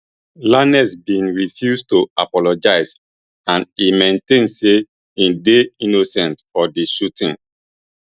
lanez bin refuse to apologise and e maintain say im dey innocent for di shooting